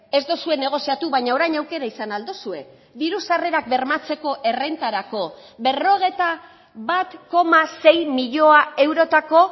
ez duzue negoziatu baina orain aukera izan ahal duzue diru sarrerak bermatzeko errentarako berrogeita bat koma sei milioi eurotako